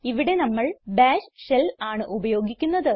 ഇവിടെ നമ്മൾ bash shell ആണ് ഉപയോഗിക്കുന്നത്